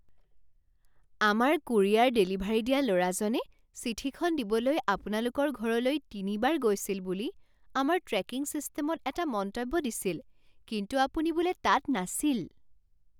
আমাৰ courier delivery দিয়া ল'ৰাজনে চিঠিখন দিবলৈ আপোনালোকৰ ঘৰলৈ তিনিবাৰ গৈছিল বুলি আমাৰ ট্ৰেকিং ছিষ্টেমত এটা মন্তব্য দিছিল কিন্তু আপুনি বোলে তাত নাছিল।